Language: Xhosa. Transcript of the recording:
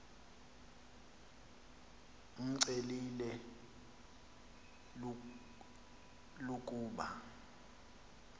imcelile l ukuba